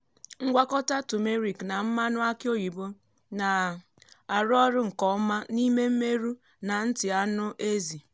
ngwakọta turmeric na mmanụ aki oyibo na-arụ ọrụ nke ọma n’ime mmerụ na nti anụ ezi.